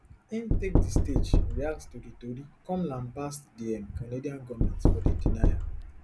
im take di stage react to di tori come lambast di um canadian goment for di denial